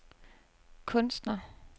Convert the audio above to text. kunstner